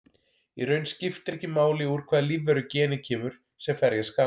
Í raun skiptir ekki máli úr hvaða lífveru genið kemur sem ferja skal.